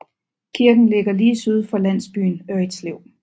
Kirken ligger lige syd for landsbyen Ørritslev